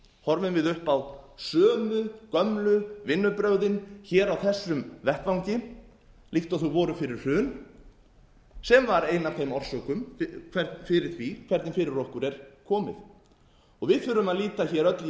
horfum við upp á sömu gömlu vinnubrögðin hér á þessum vettvangi líkt og þau voru fyrir hrun sem var ein af orsökunum fyrir því hvernig fyrir okkur er komið við þurfum að líta hér öll